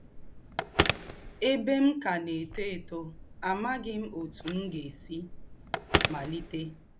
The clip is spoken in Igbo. Ēbè m kà na - étò étò, àmàghị m òtú m gà - èsí màlítè.